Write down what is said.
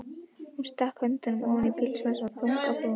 Hún stakk höndunum ofan í pilsvasana, þung á brún.